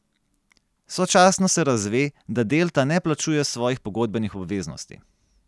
Sočasno se razve, da Delta ne plačuje svojih pogodbenih obveznosti.